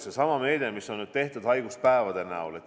Seesama meede, mis on tehtud haiguspäevade näol.